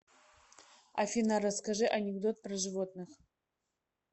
афина расскажи анекдот про животных